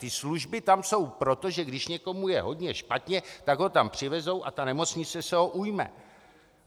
Ty služby tam jsou proto, že když někomu je hodně špatně, tak ho tam přivezou a nemocnice se ho ujme.